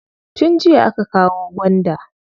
Tun jiya aka kawo gwanda.